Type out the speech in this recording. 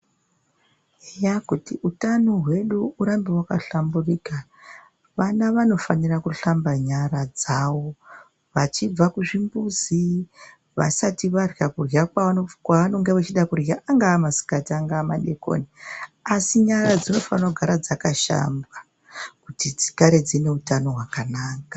Zviya kuti utano hwedu urambe wakahlamburika, vana vanofanirwa kushamba nyara dzavo vachibva kuchimbuzi, vasati varya kudya kwavanoda kudya kungava masikati angava madekoni. Asi nyara dzinofanire kugara dzakashambwa. Kuti dzigare dzine utano hwakanaka.